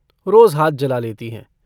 रोज हाथ जला लेती हैं।